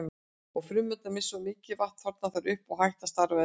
Ef frumurnar missa of mikið vatn þorna þær upp og hætt að starfa eðlilega.